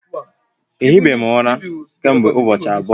Ehi be m ura kemgbe ubochi abuo